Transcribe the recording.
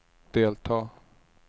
delta